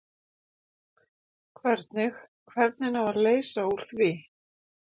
Hvernig, hvernig á að leysa úr því?